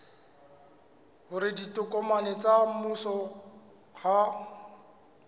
hore ditokomane tsa mmuso ha